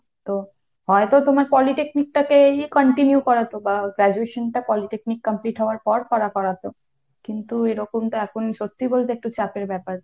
তো হয়তো তোমার polytechnic টাকে ই continue করাতো বা graduation টা polytechnic complete হবার পর করা করাতো। কিন্তু এরকম তো এখন সত্যিই বলতে একটু চাপের ব্যাপার।